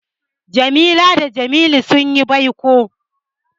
Jamila da Jamilu sun yi baiko.